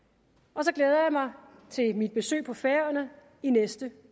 og så glæder jeg mig til mit besøg på færøerne i næste